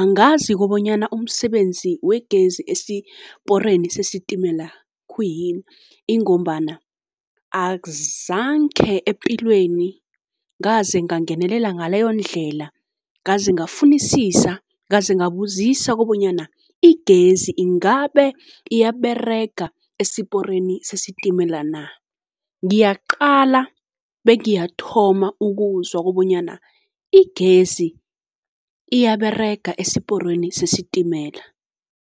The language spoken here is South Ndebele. angazi kobonyana umsebenzi wegezi esiporeni sesitimela khuyini. Ingombana azange epilweni ngaze ngangenelela ngaleyondlela, ngaze ngafunisisa, ngaze ngabuzisa kobonyana igezi ingabe iyaberega esiporeni sesitimela na. Ngiyaqala be ngiyathoma ukuzwa kobonyana igezi iyaberega esiporweni sesitimela.